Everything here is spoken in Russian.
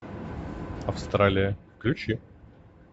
австралия включи